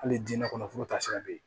Hali dinɛ kɔnɔ foro taasira be ye